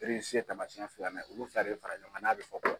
ye tamasiɲɛ filanan ye, olu fila de bɛ fara ɲɔgɔn kan n'a bɛ fɔ